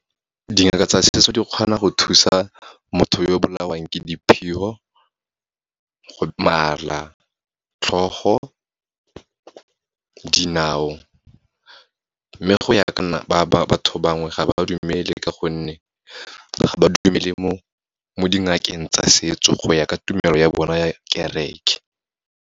Dingaka tsa setso di kgona go thusa motho yo bolawang ke diphilo, mala, tlhogo, dinao. Mme go ya ka nna, batho bangwe ga ba dumele ka gonne, ga ba dumele mo dingakeng tsa setso go ya ka tumelo ya bona ya kareke.